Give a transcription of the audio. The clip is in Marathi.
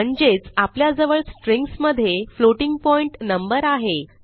म्हणजेच आपल्याजवळ स्ट्रिंग्ज मधे फ्लोटिंग पॉइंट नंबर आहे